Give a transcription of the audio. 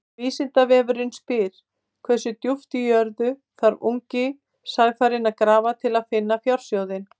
Vísindavefurinn spyr: Hversu djúpt í jörðu þarf ungi sæfarinn að grafa til að finna fjársjóðinn?